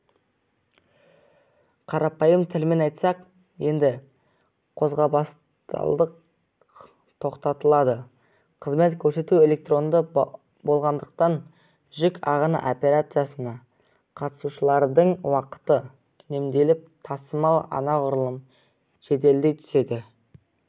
қарапайым тілмен айтсақ енді қағазбастылық тоқтатылады қызмет көрсету электронды болғандықтан жүк ағыны операциясына қатысушылардың уақыты үнемделіп тасымал анағұрлым жеделдей түседі